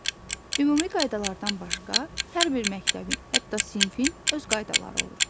Ümumi qaydalardan başqa hər bir məktəbin, hətta sinfin öz qaydaları olur.